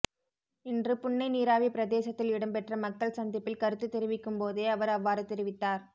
இன்று புன்னை நீராவி பிரதேசத்தில் இடம்பெற்ற மக்கள் சந்திப்பில் கருத்து தெரிவிக்கும் போதே அவர் அவ்வாறு தெரிவித்தார்